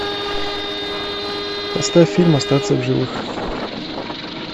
поставь фильм остаться в живых